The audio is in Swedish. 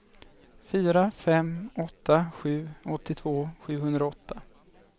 fyra fem åtta sju åttiotvå sjuhundraåtta